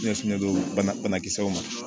Ɲɛsinnen don banakisɛw ma